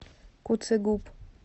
куцегуб